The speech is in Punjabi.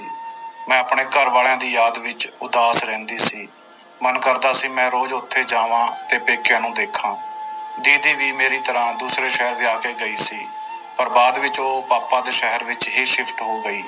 ਮੈਂ ਆਪਣੇ ਘਰ ਵਾਲਿਆਂ ਦੀ ਯਾਦ ਵਿੱਚ ਉਦਾਸ ਰਹਿੰਦੀ ਸੀ ਮਨ ਕਰਦਾ ਸੀ ਮੈਂ ਰੋਜ਼ ਉੱਥੇ ਜਾਵਾਂ ਤੇ ਪੇਕਿਆਂ ਨੂੰ ਦੇਖਾਂ ਦੀਦੀ ਵੀ ਮੇਰੀ ਤਰ੍ਹਾਂ ਦੂਸਰੇ ਸ਼ਹਿਰ ਵਿਆਹ ਕੇ ਗਈ ਸੀ ਪਰ ਬਾਅਦ ਵਿੱਚ ਉਹ ਪਾਪਾ ਦੇ ਸ਼ਹਿਰ ਵਿੱਚ ਹੀ shift ਹੋ ਗਈ।